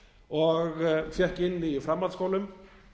og fékk inni í framhaldsskólum